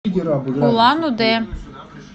улан удэ